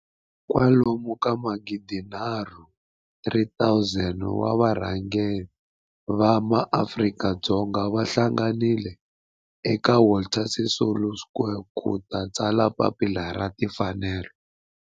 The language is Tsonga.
kwalomu ka magidi nharhu, 3 000 wa varhangeri va maAfrika-Dzonga va hlanganile eka Walter Sisulu Square ku ta tsala Papila ra Tinfanelo.